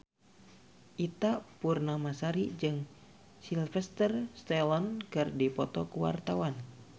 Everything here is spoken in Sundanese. Ita Purnamasari jeung Sylvester Stallone keur dipoto ku wartawan